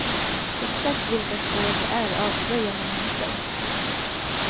Exakt vilka spår det är avslöjar man inte.